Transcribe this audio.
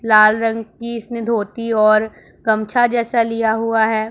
लाल रंग की इसने धोती और गमछा जैसा लिया हुआ है।